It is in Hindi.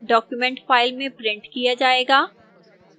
document फ़ाइल में printed किया जाएगा